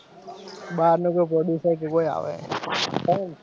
બાર લોગો ગોડું થાય કે કોઈ આવે,